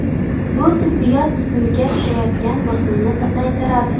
Bu tibbiyot tizimiga tushayotgan bosimni pasaytiradi.